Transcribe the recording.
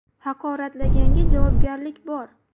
Haqoratlaganga javobgarlik bor.